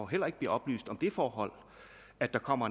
heller ikke bliver oplyst om det forhold at der kommer